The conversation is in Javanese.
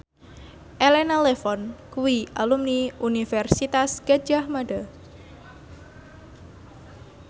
Elena Levon kuwi alumni Universitas Gadjah Mada